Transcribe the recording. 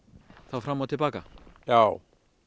fram og til baka já